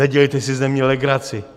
Nedělejte si ze mě legraci.